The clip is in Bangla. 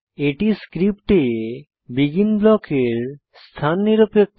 এটি ক্রিপ্টে বেগিন ব্লকের স্থান নিরপেক্ষ